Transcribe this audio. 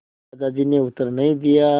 दादाजी ने उत्तर नहीं दिया